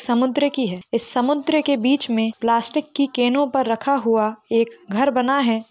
समुद्र की है इस समुद्र के बीच मे प्लास्टिक की कैनो पर रखा हुआ एक घर बना है।